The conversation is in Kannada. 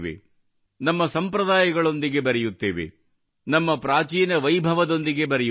ನಮ್ಮ ಸಂಪ್ರದಾಯಗಳೊಂದಿಗೆ ಬೆರೆಯುತ್ತೇವೆ ನಮ್ಮ ಪ್ರಾಚೀನ ವೈಭವದೊಂದಿಗೆ ಬೆರೆಯುತ್ತೇವೆ